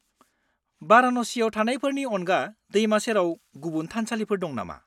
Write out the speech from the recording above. -बाराणसियाव थानायफोरनि अनगा दैमा सेराव गुबुन थानसालिफोर दं नामा?